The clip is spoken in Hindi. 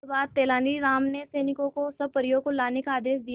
इसके बाद तेलानी राम ने सैनिकों को सब परियों को लाने का आदेश दिया